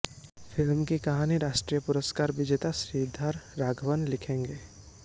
film की कहानी राष्ट्रीय पुरस्कार विजेता श्रीधर राघवन लिखेंगे